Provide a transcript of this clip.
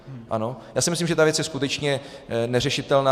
Já si myslím, že ta věc je skutečně neřešitelná.